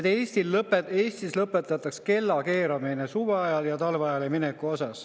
Nimelt, Eestis võiks lõpetada kellakeeramise, suveajale ja talveajale ülemineku.